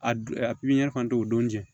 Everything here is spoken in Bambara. A don pipiniyɛri fan tɛ o don jɛn